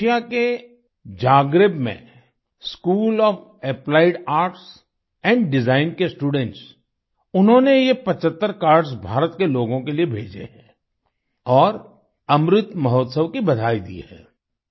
Croatia के Zagreb में school of applied arts and design के स्टूडेंट्स उन्होंने ये 75 कार्ड्स भारत के लोगों के लिए भेजे हैं और अमृत महोत्सव की बधाई दी है